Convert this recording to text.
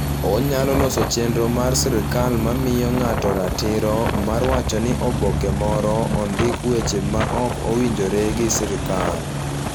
Onyalo loso chenro mar sirkal mamiyo ng'ato ratiro mar wacho ni oboke moro ondiko weche maok owinjore gi sirkal